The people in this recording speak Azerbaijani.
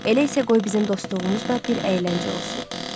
Elə isə qoy bizəcən dostluğumuz da bir əyləncə olsun.